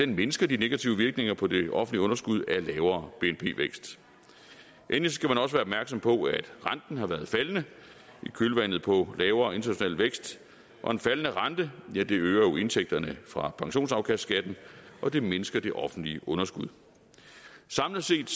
mindsker de negative virkninger på det offentlige underskud af lavere bnp vækst endelig skal man også være opmærksom på at renten har været faldende i kølvandet på lavere international vækst og en faldende rente øger jo indtægterne fra pensionsafkastskatten og det mindsker det offentlige underskud samlet set